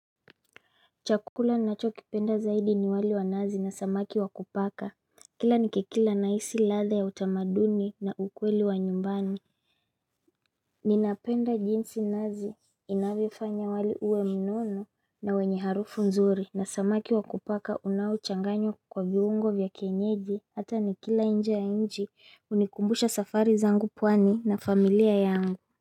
Chakula ninachokipenda zaidi ni wali wa nazi na samaki wa kupaka. Kila nikikila nahisi ladha ya utamaduni na ukweli wa nyumbani. Ninapenda jinsi nazi inavyofanya wali uwe mnono na wenye harufu nzuri. Na samaki wa kupaka unaochanganywa kwa viungo vya kienyeji hata nikila nje ya nchi hunikumbusha safari zangu pwani na familia yangu.